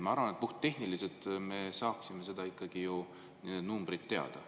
Ma arvan, et puhttehniliselt me saaksime ikkagi ju need numbrid teada.